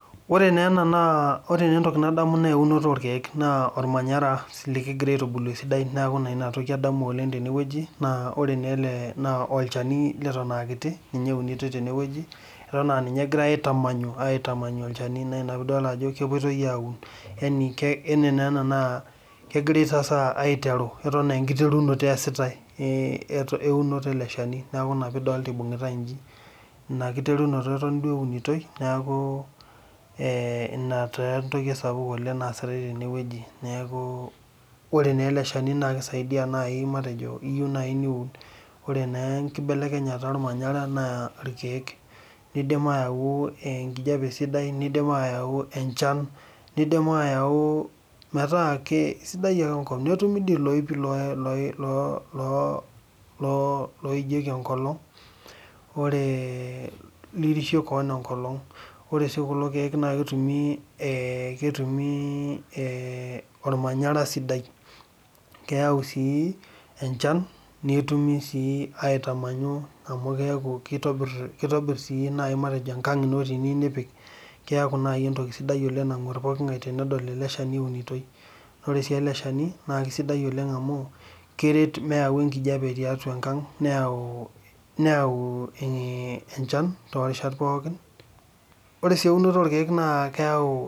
Ore neena naa ore naaentoki nadamu neeunoto orkeek naa olmanyara sii likigira aitubulu esidai neaku naa inatoki adamu oleng' tenewueji, naa oreneele naa olchani leton aakiti ninye eunitoi tenewueji eton aaninye egirai aitamanyu, aitamanyu olchani naina piidol ajo kepuoitoi aaun yani, yani neena naa kegirai sasa aiteru, eton aenkiterunoto easitai eeh eunoto ele shani neaku ina piidolta eibung'itai inji. Ina kiterunoto eton duo eunitoi neakuu eeh ina taa entoki sapuk naasitai tenewueji neakuu ore neele shani naakeisaidia nai matejo iyou nai niun ore naa enkibelekenyata olmanyara naa irkeek. Eidim ayau enkijape sidai neidim aayau enchan, neidim aayau metaa kesidai ake enkop netumi dii iloipi [loo] [loo] [loo] loijieki enkolong' oree lirishe koon enkolong'. Ore sii kulo keek naaketumii eeh ketumii eeh olmanyara sidai keyau sii enchan netumi sii aitamanyu amu keaku keitobirr, keitobirr sii nai matejo enkang' ino tiniyu nipik. Keaku nai entoki sidai oleng' nang'uarr pooking'ai tenedol ele shani eunitoi. Ore sii ele shani naakesidai oleng' amu keret meyau enkijape tiatua enkang' neyau, neyauu, [iih] enchan torishat pookin. Ore sii eunoto orkeek naa keyau.